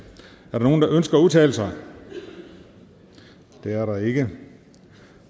der nogen der ønsker at udtale sig det er der ikke